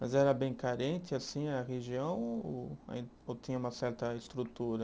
Mas era bem carente assim a região ou tinha uma certa estrutura?